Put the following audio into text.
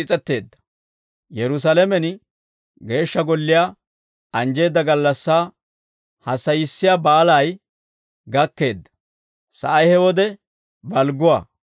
Yerusaalamen Geeshsha Golliyaa anjjisseedda gallassaa hassayissiyaa Baalay gakkeedda; sa'ay he wode balgguwaa.